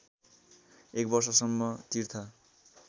एक वर्षसम्म तीर्थ